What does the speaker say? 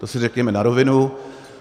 To si řekněme na rovinu.